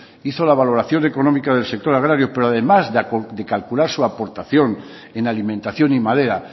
hizo la valoración económica del sector agrario pero además de calcular su aportación en alimentación y madera